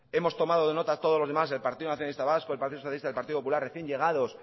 hemos tomado nota todos los demás el partido nacionalista vasco el partido socialista el partido popular recién llegados